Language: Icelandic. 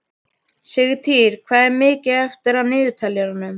Sigtýr, hvað er mikið eftir af niðurteljaranum?